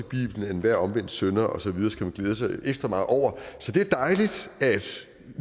bibelen at enhver omvendt synder og så videre skal man glæde sig ekstra meget over så det er dejligt at